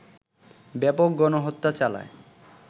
ব্যাপক গণহত্যা চালায়